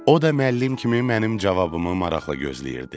O da müəllim kimi mənim cavabımı maraqla gözləyirdi.